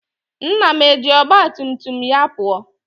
Nna m eji ọgba tum tum ya pụọ?